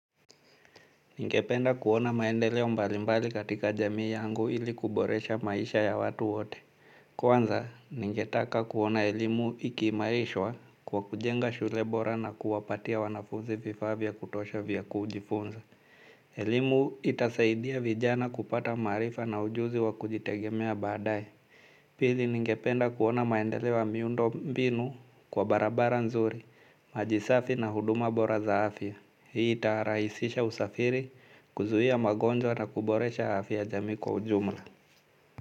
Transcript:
Ningependa kuona maendeleo mbalimbali katika jamii yangu ili kuboresha maisha ya watu wote. Kwanza, ningetaka kuona elimu ikimaishwa kwa kujenga shule bora na kuwapatia wanafuzi vifa vya kutosha vya kujifunza. Elimu itasaidia vijana kupata maarifa na ujuzi wa kujitegemea baadae. Pili ningependa kuona maendeleo ya miundo mbinu kwa barabara nzuri, maji safi na huduma bora za afya. Hii ita rahisisha usafiri kuzuia magonjwa na kuboresha hafya ya jamui kwa ujumla.